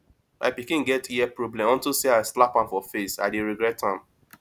my pikin get ear problem unto say i slap am for face i dey regret am